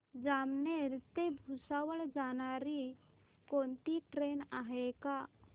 जामनेर ते भुसावळ जाणारी कोणती ट्रेन आहे का